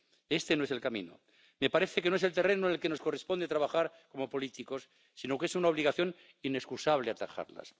Este no es el camino, me parece que no es el terreno en el que nos corresponde trabajar como políticos, sino que es una obligación inexcusable atajarlas.